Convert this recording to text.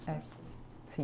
É. Sim.